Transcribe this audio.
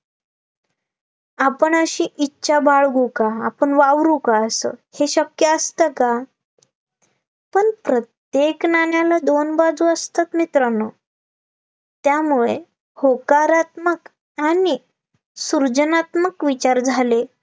पण प्रत्येक नाण्याला दोन बाजू असतात मित्रांनो त्यामुळे होकारात्मक आणि सुर्जनात्मक विचार झाले